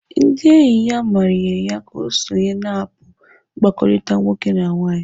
Ndị enyi ya manyere ya ka ọ sonye na aapu mkpakọrịta nwoke na nwaanyị.